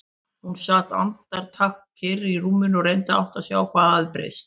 Hún sat andartak kyrr í rúminu og reyndi að átta sig á hvað hafði breyst.